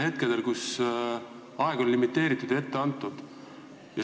Aeg oli limiteeritud ja ette antud.